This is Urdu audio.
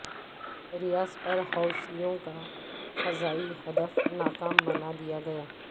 ریاض پر حوثیوں کا فضائی ہدف ناکام بنا دیا گیا